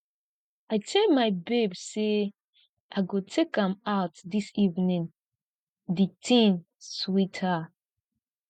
i tell my babe say i go take am out dis evening the thing sweet her